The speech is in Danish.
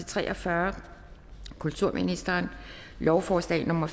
tre og fyrre kulturministeren lovforslag nummer